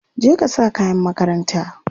je ka sa kayan makaranta!